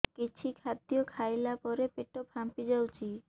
କିଛି ଖାଦ୍ୟ ଖାଇଲା ପରେ ପେଟ ଫାମ୍ପି ଯାଉଛି